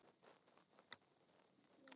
Og þau toguðu í mig.